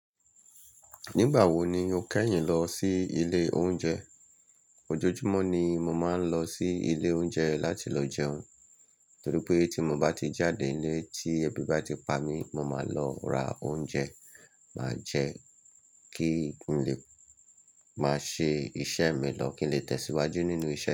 Nígbà wo ni o kẹ́yìn lọ sí ilé oúnjẹ? Ojoojúmọ́ ni mo máa ń lọ sí ilé oúnjẹ láti lọ jẹun, torí pé tí mo bá ti jáde nílé tí ebi bá ti pa mí, mo máa lọ ra oúnjẹ, má jẹ kí n lè máa ṣe iṣẹ́ mi lọ, kí n lè tẹ̀síwájú nínú iṣẹ́.